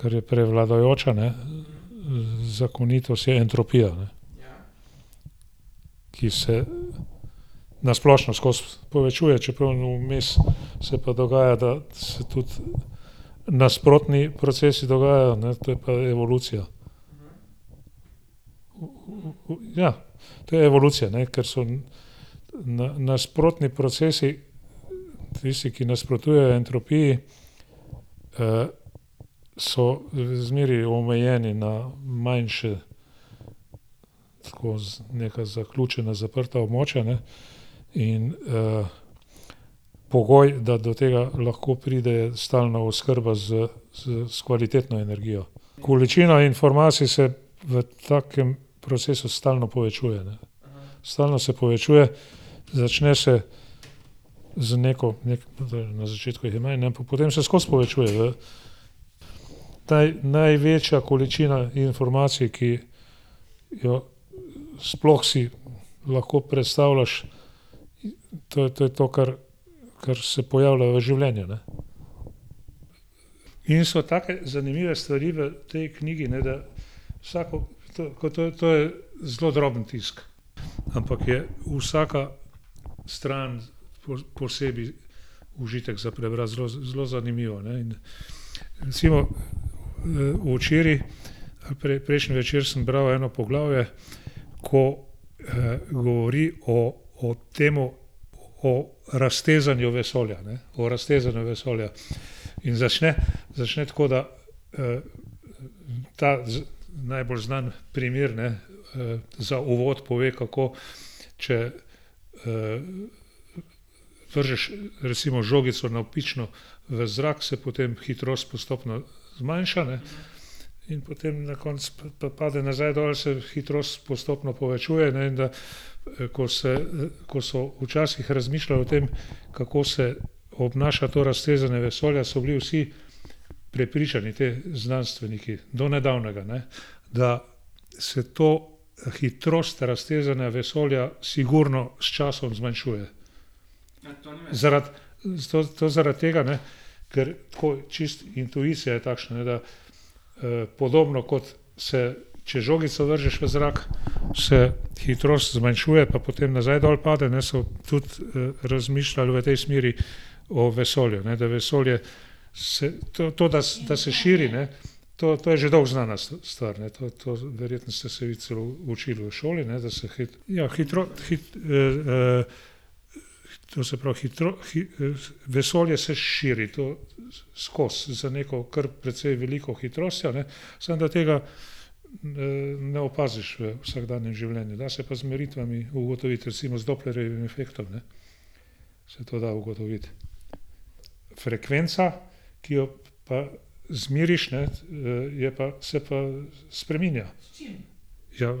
Ker je prevladujoča, ne, zakonitost je entropija, ne. Ki se, na splošno skozi povečuje, čeprav vmes se pa dogaja, da se tudi nasprotni procesi dogajajo, ne, to je pa evolucija. ja. To je evolucija, ne, ker so na, nasprotni procesi tisti, ki nasprotujejo entropiji, so, zmeraj omejeni na manjša, tako za neka zaključena zaprta območja, ne. In, pogoj, da do tega lahko pride, stalna oskrba s s kvalitetno energijo. Količina informacij se v takem procesu stalno povečuje, ne. Stalno se povečuje, začne se z neko, neki na začetku jih je manj, ampak potem se skozi povečuje, ne. Ta največja količina informacij, ki jo, sploh si lahko predstavljaš, to, to je to, kar, kar se pojavlja v življenju, ne. In so take zanimive stvari v tej knjigi, ne, da vsako, to, ko to, to je zelo droben tisk, ampak je vsaka stran posebej užitek za prebrati zelo zanimivo, ne, in recimo, včeraj ali prejšnji večer sem bral eno poglavje, ko, govori o, o temu o raztezanju vesolja, ne, o raztezanju vesolja. In začne, začne tako, da, ta z, najbolj znani primer, ne, za uvod pove, kako, če, vržeš recimo žogico navpično v zrak, se potem hitrost postopno zmanjša, ne, in potem na konec pa, pa pade nazaj dol se hitrost postopno povečuje, ne, in da, ko se, ko so včasih razmišljali o tem, kako se obnaša to raztezanje vesolja, so bili vsi prepričani ti znanstveniki, do nedavnega, ne, da se to, hitrost raztezanja vesolja sigurno s časom zmanjšuje zaradi to, to zaradi tega, ne, ker tako čisto intuicija je takšna, da, podobno, kot se, če žogico vržeš v zrak, se hitrost zmanjšuje pa potem nazaj dol pade, ne, so tudi, razmišljal v tej smeri o vesolju, ne, da vesolje se to, to da, da se širi, ne, to, to je že dolgo znana stvar, ne, to, to verjetno ste se vi celo učili v šoli, ne, da se ja to se pravi vesolje se širi, to skozi, z neko kar precej veliko hitrostjo, ne, samo, da tega, ne opaziš v vsakdanjem življenju, da se pa z meritvami ugotoviti recimo z Dopplerjevim efektom, ne. Se to da ugotoviti. Frekvenca, ki jo pa izmeriš, ne, je pa, se pa spreminja. Ja,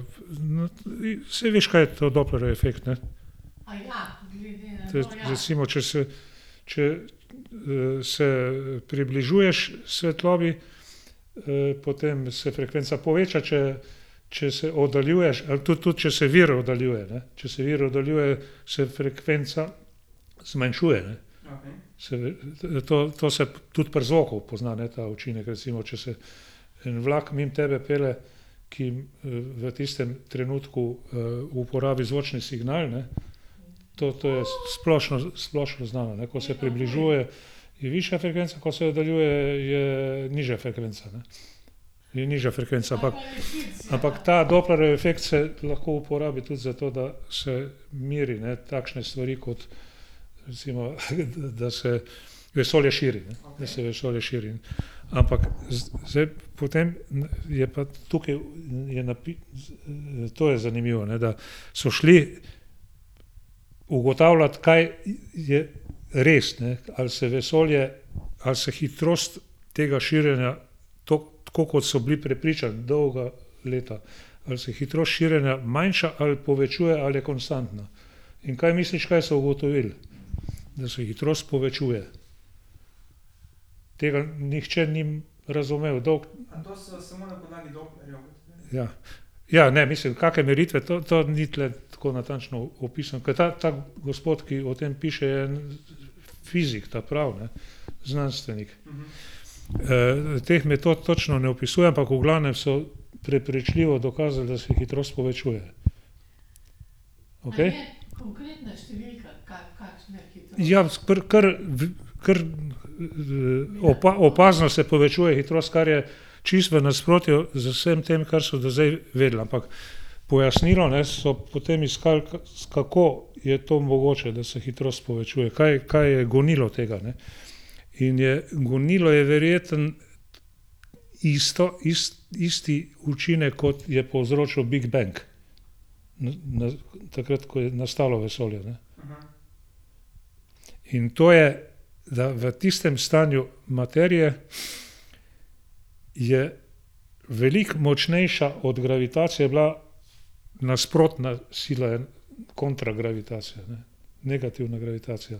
saj veš, kaj je to Dopplerjev efekt, ne. Recimo, če se, če, se približuješ svetlobi, potem se frekvenca poveča, če, če se oddaljuješ, ali to tudi, če se vir oddaljuje, ne, če se vir oddaljuje, se frekvenca zmanjšuje. to, to se tudi pri zvoku pozna, ne, ta učinek, recimo, če se en vlak mimo tebe pelje, ki, v tistem trenutku, uporabi zvočni signal, ne to, to je splošno, splošno znano, ne, ko se ta približuje, je višja frekvenca, ko se oddaljuje, je, je nižja frekvenca, ne. Je nižja frekvenca, ampak, ampak ta Dopplerjev efekt se lahko uporabi tudi zato, da se meri, ne, takšne stvari kot recimo, da se vesolje širi, ne, da se vesolje širi, ampak zdaj potem je pa tukaj je to je zanimivo, da so šli ugotavljat, kaj je res, ne, ali se vesolje, ali se hitrost tega širjenja toliko tako, kot so bili prepričani dolga leta, ali se hitrost širjenja manjša ali povečuje ali je konstantna. In kaj misliš, kaj so ugotovili? Da se hitrost povečuje. Tega nihče ni razumel dolgo. Ja. Ja, ne mislim kake meritve to, to ni tule tako natančno opisano, ke ta, ta gospod, ki o tem piše, je fizik ta pravi, ne, znanstvenik. teh metod točno ne opisuje, ampak v glavnem so prepričljivo dokazali, da se hitrost povečuje. Okej. Ja s pri kar ker opazno se povečuje hitrost, kar je čisto v nasprotju z vsem tem, kar so do zdaj vedeli, ampak pojasnilo, ne, so potem iskali, kako je to mogoče, da se hitrost povečuje. Kaj, kaj je gonilo tega, ne. In je gonilo je verjetno isto, isti učinek, kot je povzročil big bang. Na, na takrat, ko je nastalo vesolje, ne. In to je za v tistem stanju materije je veliko močnejša od gravitacije bila nasprotna sila kontragravitacija, ne. Negativna gravitacija.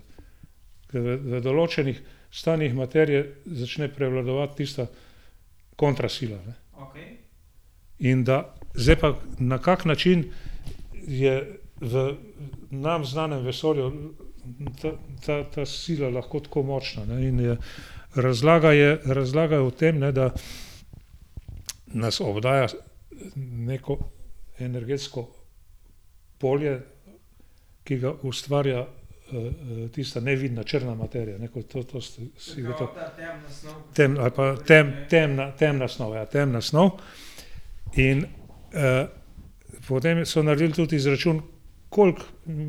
Ke v določenih stanjih materije začne prevladovati tista kontra sila, ne. In da zdaj pa na kak način je v nam znanem vesolju ta, ta, ta sila lahko tako močna in je razlaga je, razlaga je o tem, ne, da nas obdaja, neko energetsko polje, ki ga ustvarja, tista nevidna črna materija, ne, ko to to temna ali pa temna snov, ja, temna snov in, potem so naredili tudi izračun, koliko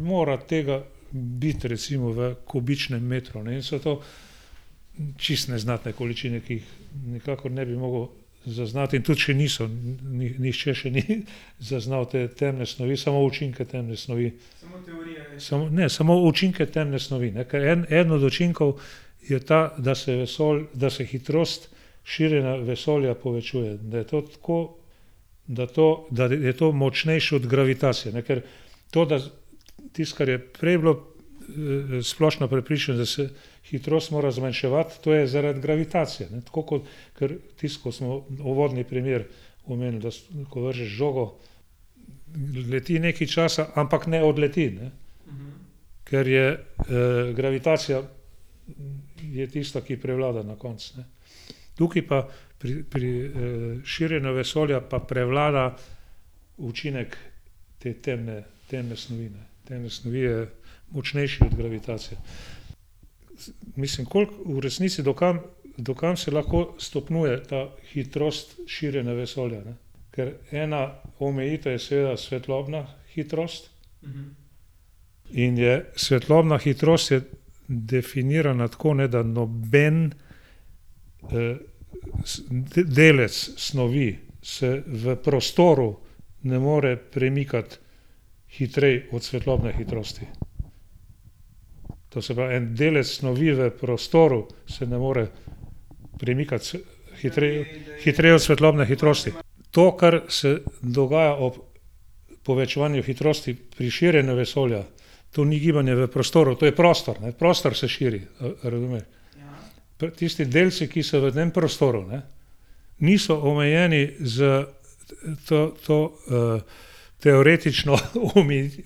mora tega biti recimo v kubičnem metru, ne, in so to čisto neznatne količine, ki jih nikakor ne bi mogel zaznati in tudi še niso, nihče še ni zaznal te temne snovi, samo učinke temne snovi. Samo, ne, samo učinke temne snovi, ne, ker en od učinkov je ta, da se da se hitrost širjenja vesolja povečuje, da je to tako, da to, da je to močnejše od gravitacije, ne, ker to, da tisto, kar je prej bilo, splošno prepričanje, da se hitrost mora zmanjševati, to je zaradi gravitacije, ne tako kot, kar, tisto, ko smo uvodni primer omenili, da ko vržeš žogo, leti nekaj časa, ampak ne odleti, ne. Ker je, gravitacija je tista, ki prevlada na koncu, ne. Tukaj pa pri, pri, širjenju vesolja pa prevlada učinek te temne, temne snovi, ne, temne snovi je močnejši od gravitacije. Mislim, koliko v resnici, do kam, do kam se lahko stopnjuje ta hitrost širjenja vesolja, ne. Ker ena omejitev je seveda svetlobna hitrost in je svetlobna hitrost je definirana tako, ne, da noben, delec snovi se v prostoru ne more premikati hitreje od svetlobne hitrosti. To se pravi, en delec snovi v prostoru se ne more premikati hitreje, hitreje od svetlobne hitrosti. To, kar se dogaja ob povečevanju hitrosti pri širjenju vesolja. To ni gibanje v prostoru, to je prostor, ne, prostor se širi, a, a razumeš. Tisti delci, ki so v tem prostoru, ne. Niso omejeni s, to, to, teoretično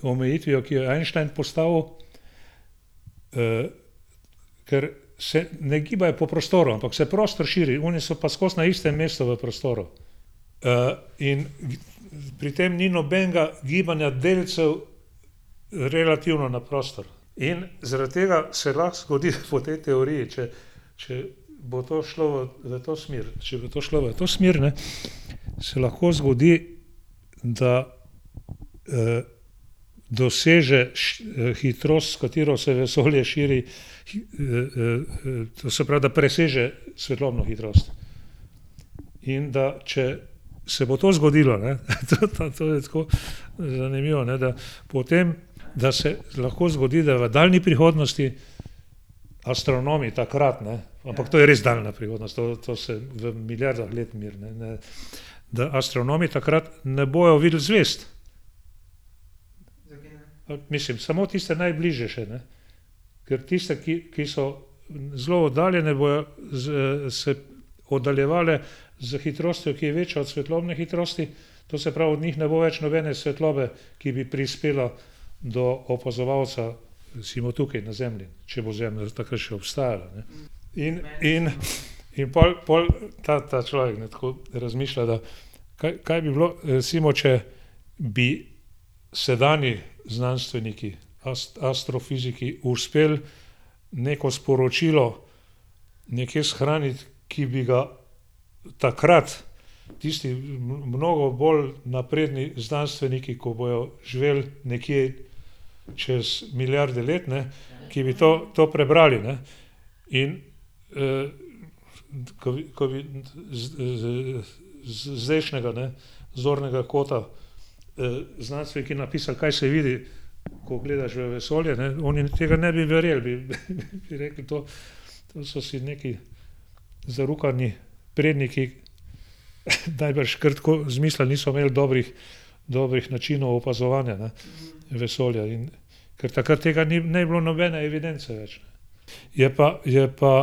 omejitvijo, ki jo je Einstein postavil, ker se ne gibajo po prostoru, ampak se prostor širi. Oni so pa skozi na istem mestu v prostoru, in pri tem ni nobenega gibanja delcev, relativno na prostor. In zaradi tega se lahko zgodi po tej teoriji, če, če bo to šlo v, v to smer, če bo to šlo v to smer, ne, se lahko zgodi, da, doseže hitrost, s katero se vesolje širi to se pravi, da preseže svetlobno hitrost. In da, če se bo to zgodilo, ne, to, to, to, je tako zanimivo, ne, da, potem da se lahko zgodi, da v daljni prihodnosti, astronomi takrat, ne, ampak to je res daljna prihodnost, to, to se v milijardah let meri, ne, ne, da astronomi takrat ne bojo videli zvezd. Mislim, samo tiste najbližje še, ne. Ker tiste, ki, ki so zelo oddaljene bojo se oddaljevale s hitrostjo, ki je večja od svetlobne hitrosti, to se pravi, od njih ne bo več nobene svetlobe, ki bi prispela do opazovalca, recimo tukaj na Zemlji, če bo Zemlja takrat še obstajala, ne. In, in, in pol, pol ta, ta človek, ne, tako razmišlja, da kaj, kaj bi bilo, recimo, če bi sedanji znanstveniki astrofiziki, uspeli neko sporočilo nekje shraniti, ki bi ga takrat tisti mnogo bolj napredni znanstveniki, ko bojo živeli nekje čez milijarde let, ne, ki bi to, to prebrali, ne. In, ko, ko z, zdajšnjega, ne, zornega kota, znanstveniki napisali, kaj se vidi, ko gledaš v vesolje, ne, oni tega ne bi verjeli, bi rekli to, to so si nekaj zarukani predniki najbrž kar tako izmislili, niso imeli dobrih, dobrih načinov opazovanja, ne, vesolja, in ker takrat tega ni, ne bi bilo nobene evidence več. Je pa, je pa,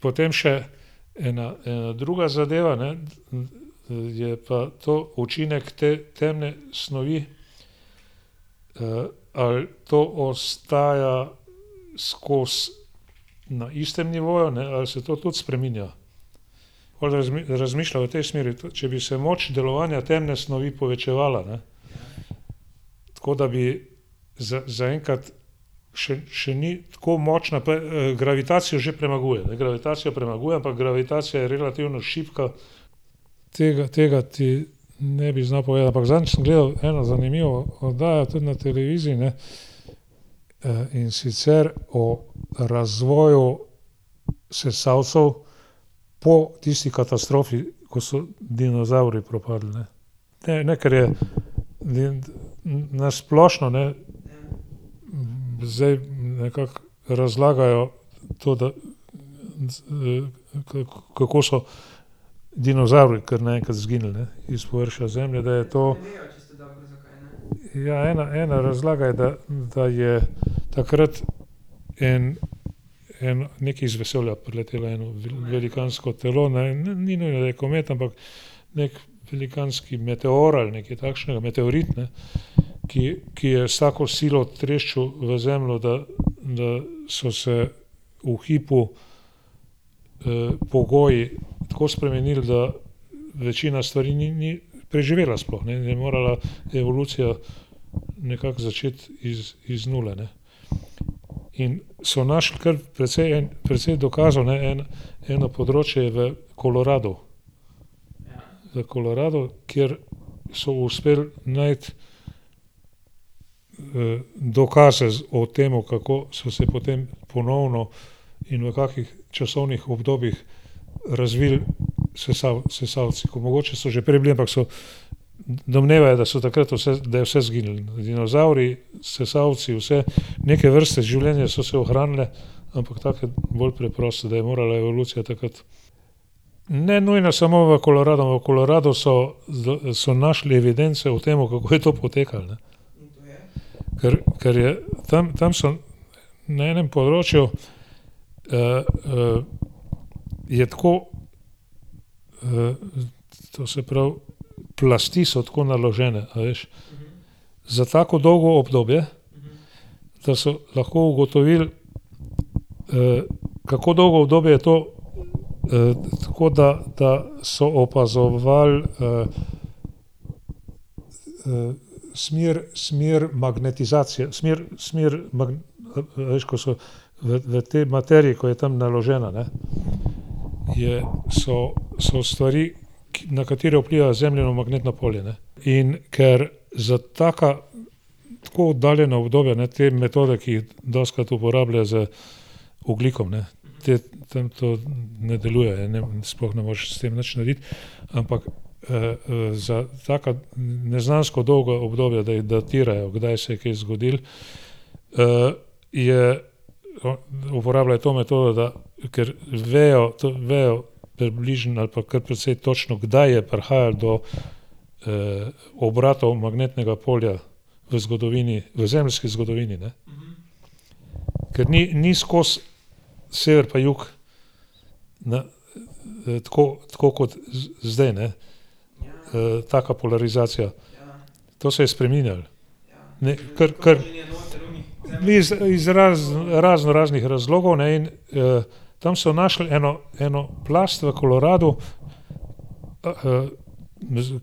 potem še ena, ena druga zadeva, ne, je pa to učinek te temne snovi. ali to ostaja skozi na istem nivoju, ne, ali se to tudi spreminja. On razmišlja o tej smeri, če bi se moč delovanja temne snovi povečevala, ne, tako da bi za zaenkrat še, še ni tako močna pa, gravitacijo že premaguje, gravitacijo premaguje, ampak gravitacija je relativno šibka tega, tega ti ne bi znal povedati, ampak zadnjič sem gledal eno zanimivo oddajo tudi na televiziji, ne, in sicer o razvoju sesalcev po tisti katastrofi, ko so dinozavri propadli, ne. Ker je na splošno, ne, zdaj nekako razlagajo to, da, kako so dinozavri, kar naenkrat izginili, ne, iz površja Zemlje, da je to, ja, ena, ena razlaga je, da, da je takrat en, en nekaj z vesolja priletelo, eno velikansko telo, ne vem, ne, ni bil komet, ampak neki velikanski meteor ali nekaj takšnega, meteorit, ne, ki, ki je s takšno silo treščil v Zemljo, da, da so se v hipu, pogoji tako spremenili, da večina stvari, ni, ni preživela sploh in je morala evolucija nekako začeti iz, iz nule, ne. In so našli kar precej precej dokazov, ne, en, eno področje je v Koloradu. V Koloradu, kjer so uspel najti, dokaze o tem, kako so se potem ponovno in v kakih časovnih obdobjih razvili sesalci, ker mogoče so že prej bili, ampak so domnevajo, da so takrat vse, da je vse izginilo. Dinozavri, sesalci, vse. Neke vrste življenje so se ohranile, ampak take bolj preproste. Da je morala evolucija takrat, ne nujno samo v Koloradu, ampak v Koloradu so našli evidence o tem, kako je to potekalo, ne. Ker, ker je tam, tam so na enem področju, je tako, to se pravi, plasti so tako naložene, a veš, za tako dolgo obdobje, da so lahko ugotovili, kako dolgo obdobje je to, tako da, da so opazovali, smer, smer magnetizacije, smer, smer veš, ko so v tej materiji, ko je tam naložena, ne, je, so, so stvari, ki, na katere vpliva Zemljino magnetno polje, ne, in ker za taka tako oddaljena obdobja, ne, te metode, ki jih dostikrat uporabljajo z ogljikom, ne. Te tam to ne deluje, sploh ne moreš s tem nič narediti, ampak, za taka neznansko dolga obdobja, da datirajo, kdaj se je kaj zgodilo, je uporabljajo to metodo, da ker vejo, to vejo približno, ali pa kar precej točno, kdaj je prihajal do, obratov magnetnega polja v zgodovini, v zemeljski zgodovini, ne. Ker ni, ni skozi sever pa jug, ne. tako, tako kot zdaj, ne. taka polarizacija. To se je spreminjalo, ne, ker ker gre za izraz iz raznoraznih razlogov, ne, in tam so našli eno, eno plast v Koloradu,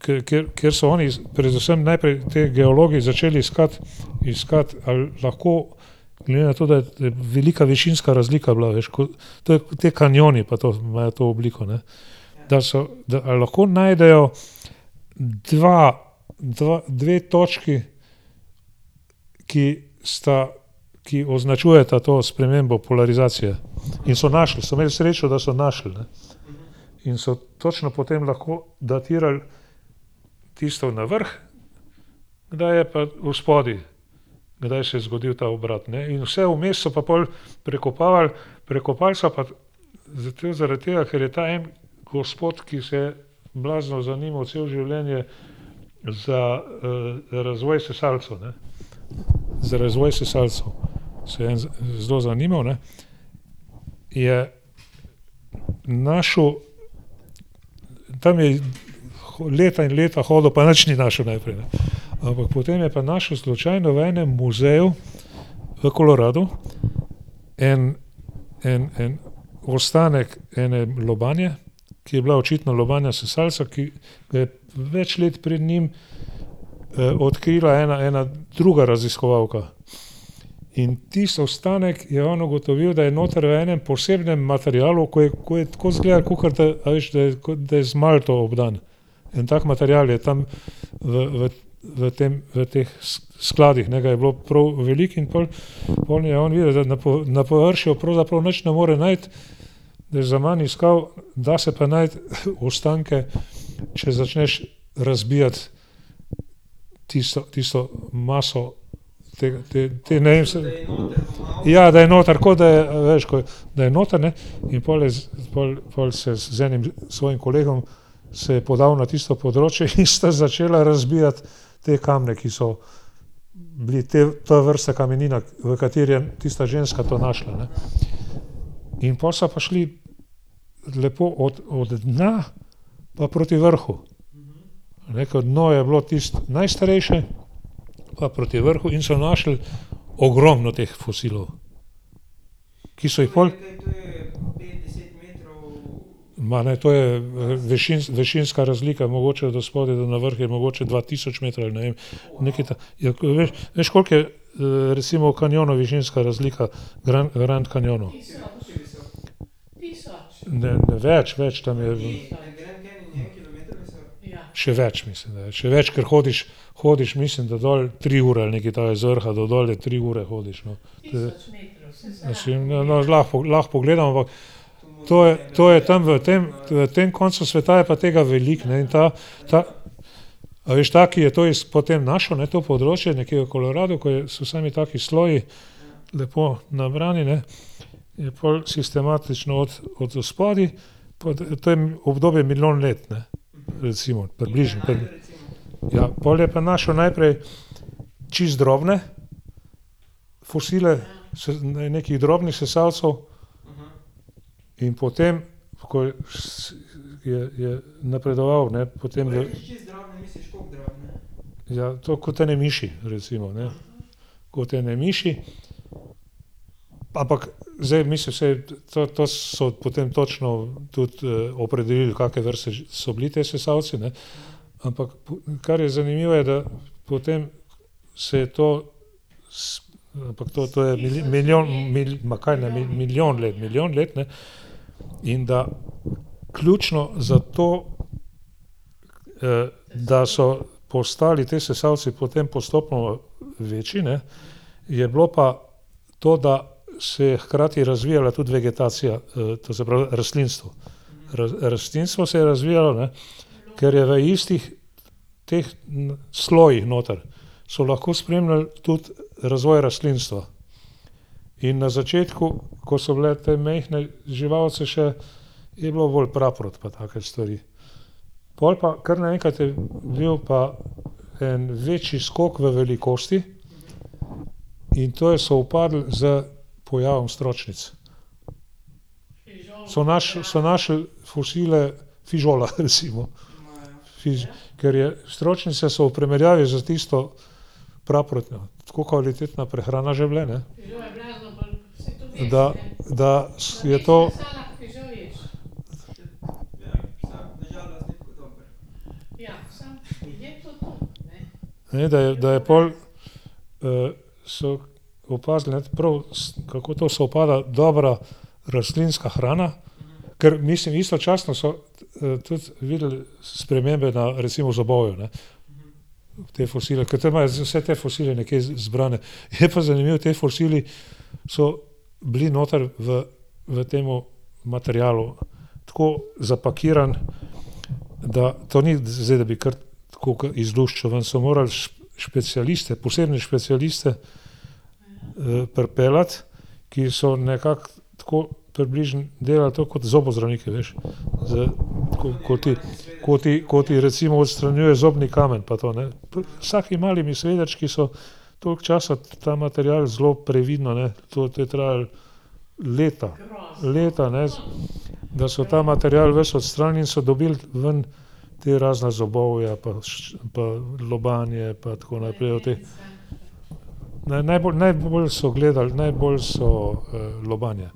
kjer, kjer, kjer so oni predvsem najprej ti geologi začeli iskati, iskati ali lahko glede na to, da je velika višinska razlika bila, veš, ko ti kanjoni pa to imajo to obliko, ne. Da so, da a lahko najdejo dva, dva, dve točki, ki sta, ki označujeta to spremembo polarizacije, in so našli, so imeli srečo, da so našli, ne. In so točno potem lahko datirali tisto na vrhu, kdaj je pa odspodaj, kdaj se je zgodil ta obrat, ne, in vse vmes so pa pol prekopavali, prekopali so pa zato, zaradi tega, ker je ta, en gospod, ki se je blazno zanimal celo življenje za, razvoj sesalcev, ne. Za razvoj sesalcev se je en zelo zanimal, ne, je našel tam je leta in leta hodil pa nič ni našel najprej, ne. Ampak potem je pa našel slučajno v enem muzeju v Koloradu en, en, en ostanek ene lobanje, ki je bila očitno lobanja sesalca, ki ga je več let pred njim, odkrila ena, ena druga raziskovalka. In tisti ostanek je on ugotovil, da je noter v enem posebnem materialu, ko je, ko je tako izgledalo, kakor da, a veš, da je, kot z malto obdan. En tak material je tam v, v, v tem, v teh skladih ga je bilo prav veliko in pol, pol je on videl, da na na površju pravzaprav nič ne more najti. Da je zaman iskal, da se pa najti ostanke, če začneš razbijati tisto, tisto maso tega, te, ja, da je noter, ko da je, a veš, ko da je noter, ne, in pol je z, pol, pol se je z enim svojim kolegom se je podal na tisto področje in sta začela razbijati te kamne, ki so bili tej ta vrsta kameninah, v katerih je tista ženska to našla, ne. In pol so pa šli lepo od, od dna pa proti vrhu. A ne, ke dno je bilo tisto najstarejše gor proti vrhu in so našli ogromno teh fosilov, ki so jih pol ... Ma ne, to je višinska razlika mogoče od odspodaj do navrh je mogoče dva tisoč metrov, ne vem, nekaj ja veš, koliko je, recimo v kanjonu višinska razlika v Grand Canyonu? Ne, ne, več, več, tam je ... Še več, mislim, da je, še več, ker hodiš, hodiš mislim, da dol tri ure ali nekaj takega z vrha do dol je tri ure hodiš, no. No lahko pogledamo. To je, to je tam v tem, v tem koncu sveta je pa tega veliko, ne, in ta, a veš, ta, ki je to potem našel, ne, to področje nekje v Koloradu, kjer so sami taki sloji lepo nabrani, ne, in pol sistematično od, od odspodaj potem obdobjem milijon let, ne. Recimo približno. Ja, pol je pa našel najprej čisto drobne fosile, nekih drobnih sesalcev. In potem, ko je je, je napredoval, ne, potem ... Ja, to kot ene miši recimo, ne. Kot ene miši, ampak zdaj mislil, saj to, to so potem točno tudi, pol opredelili, kakšne vrste so bili ti sesalci, ne. Ampak kar je zanimivo, je, da potem se je to ampak to, to je milijon ma kaj, ne, milijon let, ne, in da ključno za to, da so postali ti sesalci potem postopoma večji, ne, je bilo pa to, da se je hkrati razvijala tudi vegetacija, to se pravi rastlinstvo. rastlinstvo se je razvijalo, ne, ker je v istih teh slojih noter so lahko spremljali tudi razvoj rastlinstva in na začetku, ko so bile te majhne živalice še, je bilo bolj praprot pa take stvari. Pol pa kar naenkrat je bil pa en večji skok v velikosti in to je sovpadlo s pojavom stročnic. So so našli fosile fižola recimo. ker je stročnice so v primerjavi s tisto praprotjo tako kvalitetna prehrana že bile, ne, da, da je to, a ne, da je, da je pol, so opazili, ne, prav, kako to sovpada dobra rastlinska hrana, ker mislim istočasno so, tudi videli spremembe na recimo zobovju, ne. Te fosile, ker tam imajo vse te fosile nekje zbrane. Je pa zanimivo, ti fosili so bili noter v, v tem materialu tako zapakiran, da to ni zdaj, da bi kar kakor izluščil ven, so morali specialiste, posebne specialiste, pripeljati, ki so nekako tako približno delali to kot zobozdravniki, veš, z, kot ti, ko ti, ko ti recimo odstranjuje zobni kamen pa to, ne. S takimi malimi svedrčki so toliko časa ta material zelo previdno, ne, to, to je trajalo leta, leta, ne, da so ta material ves odstranili in so dobili ven ta razna zobovja pa lobanje pa tako naprej te na, najbolj so gledali najbolj so lobanje.